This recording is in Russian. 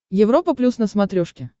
европа плюс на смотрешке